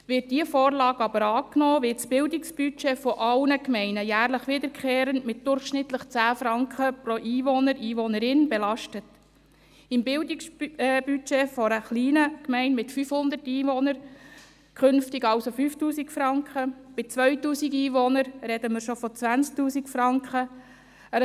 Wird diese Vorlage aber angenommen, wird das Bildungsbudget aller Gemeinden jährlich wiederkehrend mit durchschnittlich 10 Franken pro Einwohner und Einwohnerin belastet: im Bildungsbudget einer kleinen Gemeinde mit 500 Einwohnern künftig also mit 5000 Franken, bei 2000 Einwohnern sprechen wir bereits von 20 000 Franken;